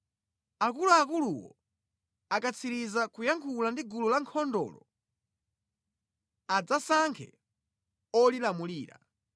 Akuluakuluwo akatsiriza kuyankhula ndi gulu la ankhondolo, adzasankhe olilamulira.